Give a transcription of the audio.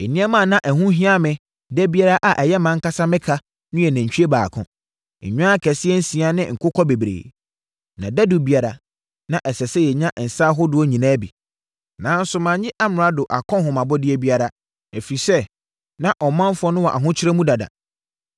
Nneɛma a na ɛho hia me da biara a ɛyɛ mʼankasa me ka no yɛ nantwie baako, nnwan akɛseɛ nsia ne nkokɔ bebree. Na dadu biara, na ɛsɛ sɛ yɛnya nsã ahodoɔ nyinaa bi. Nanso, mannye amrado akɔnhomabɔdeɛ biara, ɛfiri sɛ, na ɔmanfoɔ no wɔ ahokyere mu dada.